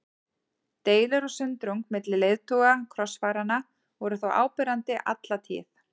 Deilur og sundrung milli leiðtoga krossfaranna voru þó áberandi alla tíð.